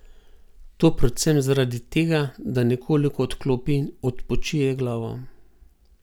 To predvsem zaradi tega, da nekoliko odklopi in odpočije glavo.